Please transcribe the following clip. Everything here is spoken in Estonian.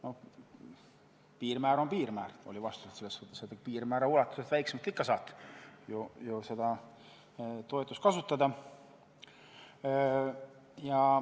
No piirmäär on piirmäär, oli vastus, piirmäärast väiksemat toetust saab ikka ju kasutada.